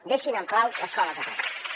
deixin en pau l’escola catalana